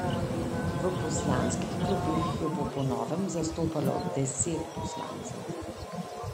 V poslanskih klopeh jo bo po novem zastopalo deset poslancev.